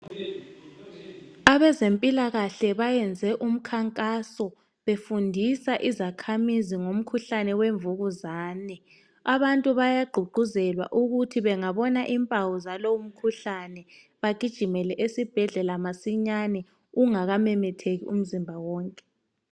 Abezempilakahle bayenze umkhankaso, bemfundisa izakhamizi ngomkhuhlane wemvukuzane, abantu bayagqugquzelwa ukuthi bangabona impawu zalowo mkhuhlane, bagijimele esibhedlela masinyane ungakamemetheki umzimba wonke.